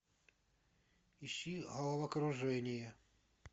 ищи головокружение